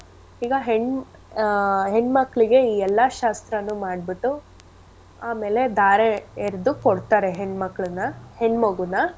ಈಗ ಹೆಣ್ ಆ ಹೆಣ್ ಮಕ್ಳಿಗೆ ಈ ಎಲ್ಲಾ ಶಾಸ್ತ್ರನು ಮಾಡ್ಬಿಟು ಆಮೇಲೆ ಧಾರೆ ಎರ್ದು ಕೊಡ್ತಾರೆ ಹೆಣ್ ಮಕ್ಳನ್ನ ಹೆಣ್ ಮಗುನ.